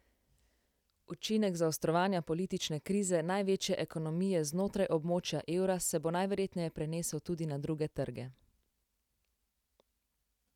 Učinek zaostrovanja politične krize največje ekonomije znotraj območja evra se bo najverjetneje prenesel tudi na druge trge.